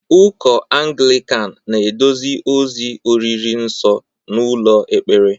Ụkọ Anglịkan na-eduzi ozi oriri nsọ n'ụlọ ekpere